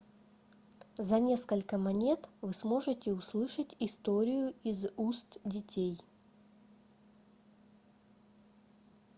за несколько монет вы сможете услышать историю из уст детей